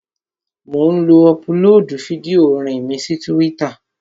Mò ń ọpulóòdù fídíò orin mi sí túwítà